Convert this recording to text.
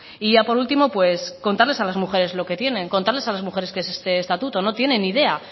y ya por último pues contarles a las mujeres lo que tienen contarles a las mujeres qué es este estatuto no tienen ni idea